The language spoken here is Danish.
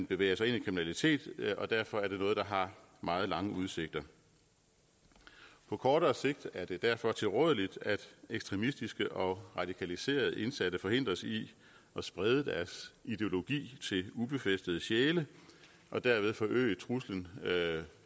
bevæger sig ind i kriminalitet og derfor er det noget der har meget lange udsigter på kortere sigt er det derfor tilrådeligt at ekstremistiske og radikaliserede indsatte forhindres i at sprede deres ideologi til ubefæstede sjæle og derved forøge truslen